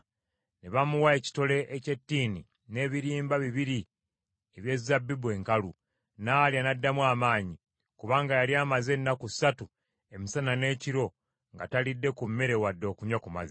ne bamuwa ekitole eky’ettiini n’ebirimba bibiri eby’ezabbibu enkalu. N’alya n’addamu amaanyi, kubanga yali amaze ennaku ssatu, emisana n’ekiro nga talidde ku mmere wadde okunywa ku mazzi.